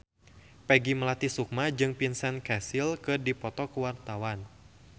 Peggy Melati Sukma jeung Vincent Cassel keur dipoto ku wartawan